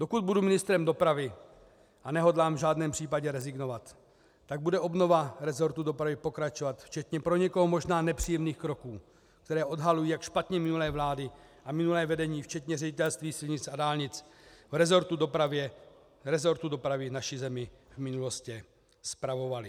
Dokud budu ministrem dopravy, a nehodlám v žádném případě rezignovat, tak bude obnova rezortu dopravy pokračovat včetně pro někoho možná nepříjemných kroků, které odhalují, jak špatně minulé vlády a minulé vedení včetně Ředitelství silnic a dálnic v rezortu dopravy naši zemi v minulosti spravovaly.